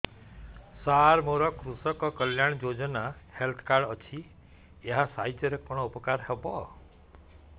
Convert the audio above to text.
ସାର ମୋର କୃଷକ କଲ୍ୟାଣ ଯୋଜନା ହେଲ୍ଥ କାର୍ଡ ଅଛି ଏହା ସାହାଯ୍ୟ ରେ କଣ ଉପକାର ହବ